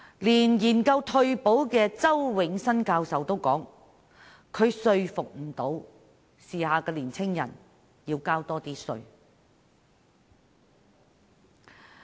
連研究退休保障的周永新教授也表示無法說服時下年青人要多交稅。